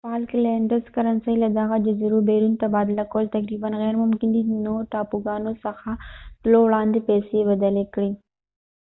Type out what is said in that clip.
د فالکلېنډز کرنسۍ له دغه جزیرو بیرون تبادله کول تقریبا غېرممکن دي نو ټاپوګانو څخه تلو وړاندې پیسې بدلې کړئ